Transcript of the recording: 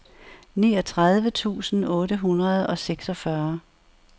niogtredive tusind otte hundrede og seksogfyrre